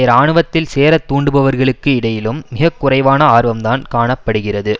இராணுவத்தில் சேர தூண்டுபவர்களுக்கு இடையிலும் மிகக்குறைவான ஆர்வம்தான் காண படுகிறது